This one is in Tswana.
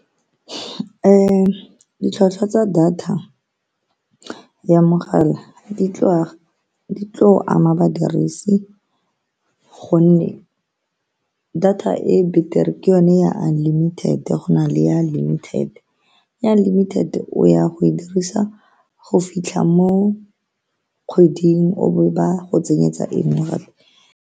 Ditlhwatlhwa tsa data ya mogala di tla ama badirisi ka gonne data e e betere ke yone ya unlimited, go na le ya limited. Ya unlimited o ya go e dirisa go fitlha mo kgweding o be ba go tsenyetsa engwe gape.